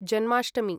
Janmashtami